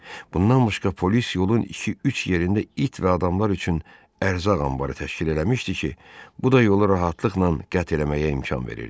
Bundan başqa polis yolun iki-üç yerində it və adamlar üçün ərzaq anbarı təşkil eləmişdi ki, bu da yolu rahatlıqla qət eləməyə imkan verirdi.